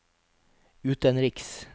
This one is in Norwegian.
utenriks